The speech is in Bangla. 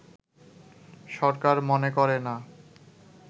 সরকার মনে করে না